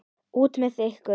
Út með ykkur!